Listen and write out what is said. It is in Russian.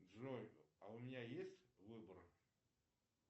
джой а у меня есть выбор